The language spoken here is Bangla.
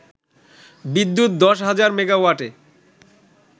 বিদ্যুৎ দশ হাজার মেগাওয়াটে